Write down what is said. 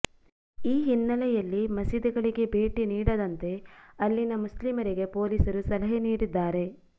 ಈ ಹಿನ್ನೆಲೆಯಲ್ಲಿ ಮಸೀದಿಗಳಿಗೆ ಭೇಟಿ ನೀಡದಂತೆ ಅಲ್ಲಿನ ಮುಸ್ಲಿಮರಿಗೆ ಪೊಲೀಸರು ಸಲಹೆ ನೀಡಿದ್ದಾರೆ